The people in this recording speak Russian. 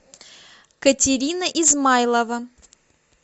катерина измайлова